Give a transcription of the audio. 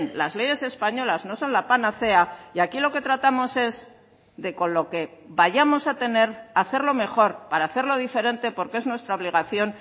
las leyes españolas no son la panacea y aquí lo que tratamos es de con lo que vayamos a tener hacerlo mejor para hacerlo diferente porque es nuestra obligación